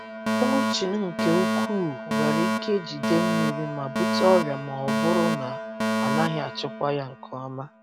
Mulching nke ukwuu nwere ike jide mmiri ma bute ọrịa ma ọ ọ bụrụ na a naghị achịkwa ya nke ọma.